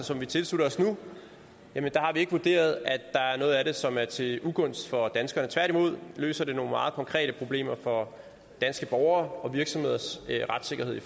som vi tilslutter os nu har vi ikke vurderet at der er noget af det som er til ugunst for danskerne tværtimod løser det nogle meget konkrete problemer for danske borgeres og virksomheders retssikkerhed i